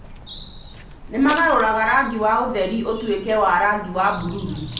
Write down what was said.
Nĩ maagarũraga rangi wa ũtheri ũtuĩke wa rangi wa bururu